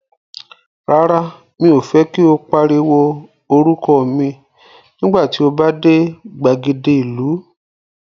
Rárá, mi ò fẹ́ kí o pariwo orúkọ mi nígbà tí o bá dé gbàgede ìlú.